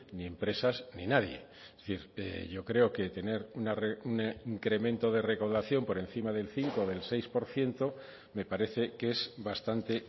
ni empresas ni nadie es decir yo creo que tener un incremento de recaudación por encima del cinco o del seis por ciento me parece que es bastante